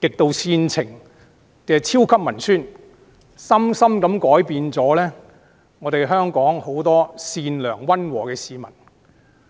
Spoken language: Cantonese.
極度煽情的超級文宣，深深改變了很多善良溫和的香港市民。